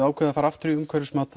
ákveðið að fara aftur í umhverfismat